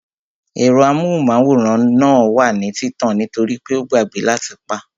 Ẹ̀rọ amóhùnmáwòrán náà wà ní títàn nítorípé a gbàgbẹ́ láti pá